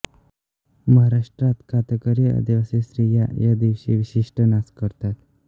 महाराष्ट्रात कातकरी आदिवासी स्त्रिया या दिवशी विशिष्ट नाच करतात